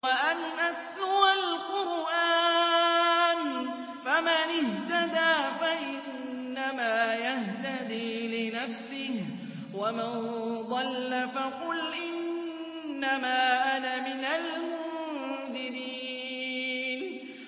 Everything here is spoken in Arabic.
وَأَنْ أَتْلُوَ الْقُرْآنَ ۖ فَمَنِ اهْتَدَىٰ فَإِنَّمَا يَهْتَدِي لِنَفْسِهِ ۖ وَمَن ضَلَّ فَقُلْ إِنَّمَا أَنَا مِنَ الْمُنذِرِينَ